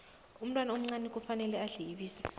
umntwana omncani kufanele adle ibisi